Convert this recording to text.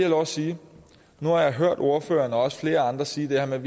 lov at sige nu har jeg hørt venstres ordfører og flere andre sige det her med